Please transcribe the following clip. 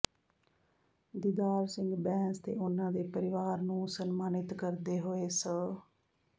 ਦੀਦਾਰ ਸਿੰਘ ਬੈਂਸ ਤੇ ਉਨ੍ਹਾਂ ਦੇ ਪਰਿਵਾਰ ਨੂੰ ਸਨਮਾਨਿਤ ਕਰਦੇ ਹੋਏ ਸ